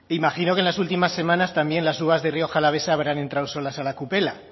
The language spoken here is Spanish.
imagino que en las últimas semanas también las uvas de rioja alavesa habrán entrado solas a la kupela